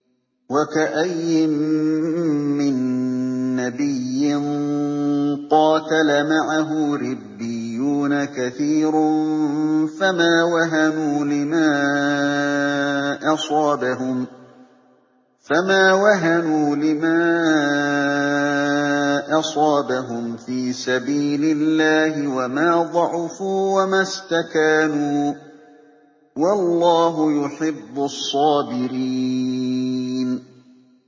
وَكَأَيِّن مِّن نَّبِيٍّ قَاتَلَ مَعَهُ رِبِّيُّونَ كَثِيرٌ فَمَا وَهَنُوا لِمَا أَصَابَهُمْ فِي سَبِيلِ اللَّهِ وَمَا ضَعُفُوا وَمَا اسْتَكَانُوا ۗ وَاللَّهُ يُحِبُّ الصَّابِرِينَ